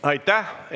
Aitäh!